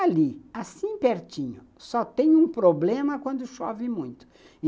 Ali, assim pertinho, só tem um problema quando chove muito.